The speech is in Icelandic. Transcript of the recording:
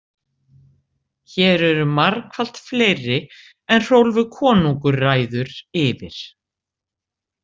Hér eru margfalt fleiri en Hrólfur konungur ræður yfir.